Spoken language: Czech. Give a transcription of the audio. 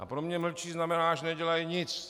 A pro mě mlčí znamená, že nedělají nic.